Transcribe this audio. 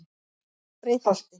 Breiðholti